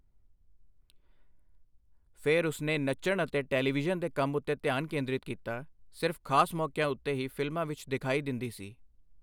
ਫਿਰ ਉਸਨੇ ਨੱਚਣ ਅਤੇ ਟੈਲੀਵਿਜ਼ਨ ਦੇ ਕੰਮ ਉੱਤੇ ਧਿਆਨ ਕੇਂਦਰਿਤ ਕੀਤਾ, ਸਿਰਫ਼ ਖ਼ਾਸ ਮੌਕਿਆਂ ਉੱਤੇ ਹੀ ਫ਼ਿਲਮਾਂ ਵਿੱਚ ਦਿਖਾਈ ਦਿੰਦੀ ਸੀ।